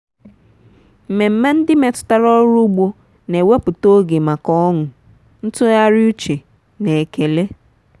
mmemme ndị metụtara ọrụ ugbo na-ewepụta oge maka ọṅụ ntụgharị uche na ekele. um